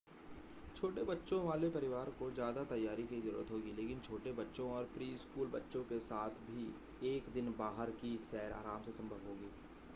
छोटे बच्चों वाले परिवार को ज़्यादा तैयारी की ज़रूरत होगी लेकिन छोटे बच्चों और प्री-स्कूल बच्चों के साथ भी एक दिन बाहर की सैर आराम से संभव होगी